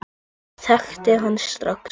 Ég þekkti hana strax.